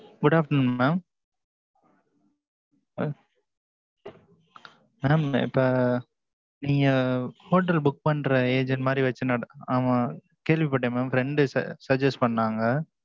good afternoon mam ah mam இப்ப, நீங்க, hotel book பண்ற agent மாரி வச்சு நட ஆமா கேள்விப்பட்டேன் mamfriend டு suggest பண்ணாங்க.